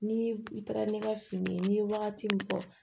Ni i taara ne ka fini n'i ye wagati min fɔ